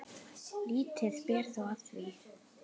Lítið ber þó á því.